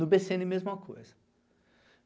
No bê cê ene, mesma coisa.